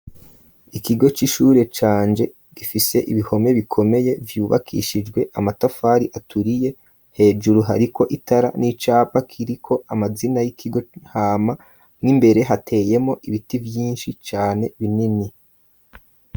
Ikigo c'ishure canje gifise ibihome bikomeye vyubakishijwe amatafari aturiye hejuru hariko itara n'icapa kiriko amazina y'ikigo hama mwo imbere hateyemo ibiti vyinshi cane binini.